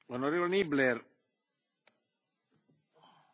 Herr Präsident, Herr Kommissar, liebe Kolleginnen, liebe Kollegen!